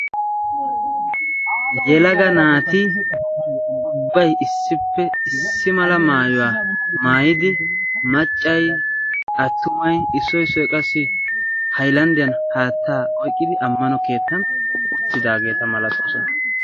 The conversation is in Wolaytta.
Yelaga naati ubbai issippe issi mala maayuwaa maayidi maccay attumai issoy issoy qassi haylanddiyan haattaa oyqqidi ammano keettan uttidaageeta malatoosana